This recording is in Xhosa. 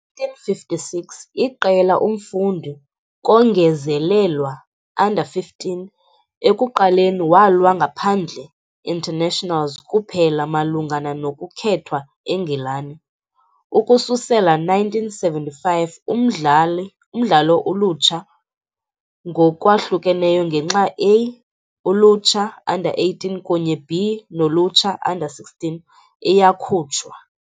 1956, iqela umfundi kongezelelwa, U 15, ekuqaleni walwa ngaphandle internationals kuphela malungana nokukhethwa eNgilani. Ukususela 1975 umdlalo ulutsha ngokwahlukeneyo ngenxa A-ulutsha, U 18, kunye B-nolutsha, U 16, iyakhutshwa.